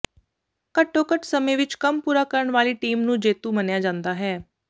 ਘੱਟੋ ਘੱਟ ਸਮੇਂ ਵਿੱਚ ਕੰਮ ਪੂਰਾ ਕਰਨ ਵਾਲੀ ਟੀਮ ਨੂੰ ਜੇਤੂ ਮੰਨਿਆ ਜਾਂਦਾ ਹੈ